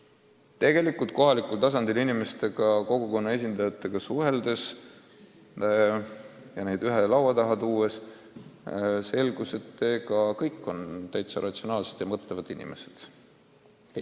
Ja tegelikult oli nii, et kohalikul tasandil kogukonna esindajatega suheldes ja nendega ühe laua taga istudes selgus, et nad kõik on ratsionaalselt mõtlevad inimesed.